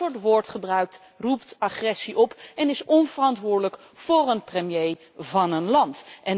Dat soort woordgebruik roept agressie op en is onverantwoordelijk voor een premier van een land.